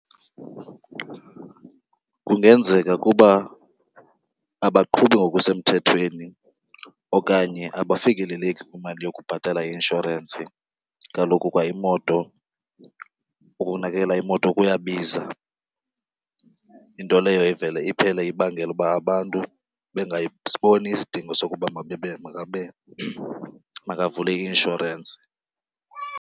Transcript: Kungenzeka kuba abaqhubi ngokusemthethweni okanye abafikeleleki kwimali yokubhatala i-inshorensi. Kaloku kwa imoto, ukunakekela imoto kuyabiza. Into leyo ivele iphele ibangela ukuba abantu bengasiboni isidingo sokuba makavule i-inshorensi.